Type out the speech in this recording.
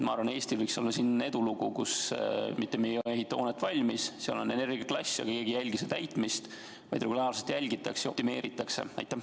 Ma arvan, et see võiks olla Eesti edulugu: me mitte ainult ei ehita hoonet valmis, vaid laseme regulaarselt jälgida ja optimeerida ka selle energiaklassi.